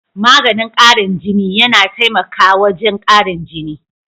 Maganin karin jini, yana taimaka wajen karin jini.